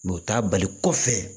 u t'a bali kɔfɛ